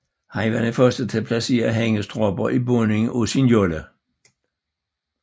Han var den første til at placere hængestropper i bunden af sin jolle